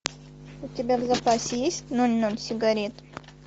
у тебя в запасе есть ноль ноль сигарет